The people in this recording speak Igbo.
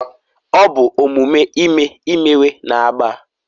ọ bụ omume ime imewe na agba